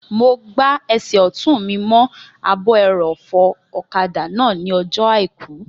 Mo gbá ẹsẹ̀ ọ̀tún mi mọ́ ààbò ẹrọ̀fọ̀ ọ̀kadà náà ní ọjọ́ àìkú